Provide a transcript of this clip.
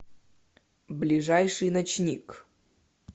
ближайший ночник